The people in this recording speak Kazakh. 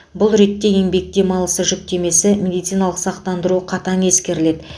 бұл ретте еңбек демалысы жүктемесі медициналық сақтандыру қатаң ескеріледі